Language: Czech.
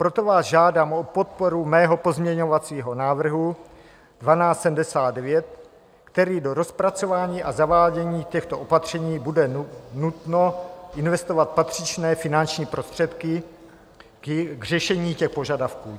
Proto vás žádám o podporu svého pozměňovacího návrhu 1279, který - do rozpracování a zavádění těchto opatření bude nutno investovat patřičné finanční prostředky k řešení těch požadavků.